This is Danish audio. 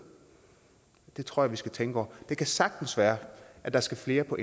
det tror jeg vi skal tænke over det kan sagtens være at der skal flere på